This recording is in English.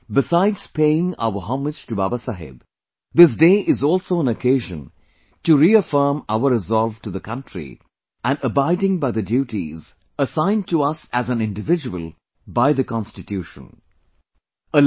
Besides paying our homage to Baba Saheb, this day is also an occasion to reaffirm our resolve to the country and abiding by the duties, assigned to us by the Constitution as an individual